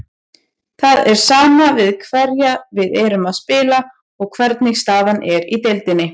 Það er sama við hverja við erum að spila og hvernig staðan er í deildinni.